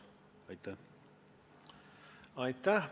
Aitäh!